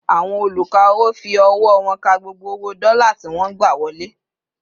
Àwọn oluka-owo fi ọwọ wón ká gbogbo owo dola tí wọn gba wọlé